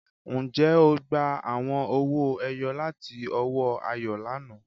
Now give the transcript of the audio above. Ǹjẹ́ ó gbà àwọn ọ̀wọ̀-èyò̀ lati ọwọ̀ Àyọ̀ lánà?